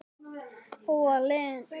Þó er leiðin ekki greið.